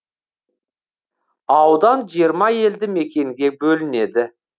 аудан жиырма елді мекенге бөлінеді